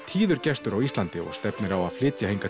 tíður gestur á Íslandi og stefnir á að flytja hingað